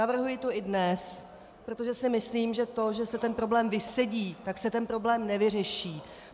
Navrhuji to i dnes, protože si myslím, že to, že se ten problém vysedí, tak se ten problém nevyřeší.